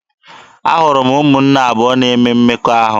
Ahụrụ m ụmụnne abụọ na-eme mmekọahụ.